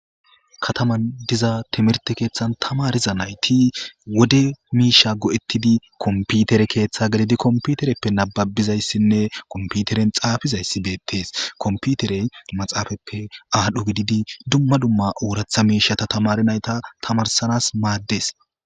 kataman diza timirte keeththan tamariza nayti wode miisha go7ettidi komputere keeththa gelidi komputereppe nababizayssinne komputeren xaafizayssibeettees komputerey maxaafappe aadhdho gididi dumma dumma ooratha miisha ta tamari nayta tamarsanas maaddes